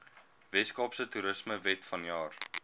weskaapse toerismewet vanjaar